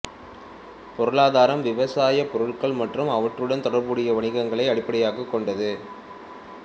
பொருளாதாரம் விவசாய பொருட்கள் மற்றும் அவற்றுடன் தொடர்புடைய வணிகங்களை அடிப்படையாகக் கொண்டது